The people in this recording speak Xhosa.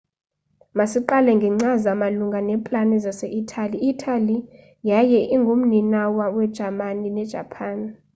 masiqale ngekcaza malunga neeplani zase italy i italy yaye ingu mninawa we jamani ne japan